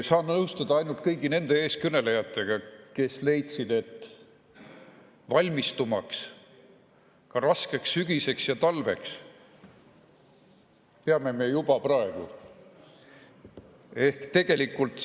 Saan nõustuda ainult nende eeskõnelejatega, kes leidsid, et valmistuma raskeks sügiseks ja talveks peame me juba praegu.